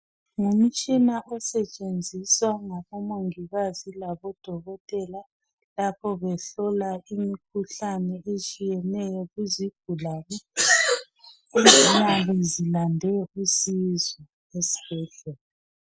Ngumtshina osetshenziswa ngabomongikazi labo dokotela lapho behlola imikhuhlane etshiyeneyo ku zigulane eziyabe zilande usizo esibhedlela.